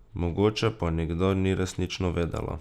Mogoče pa nikdar ni resnično vedela.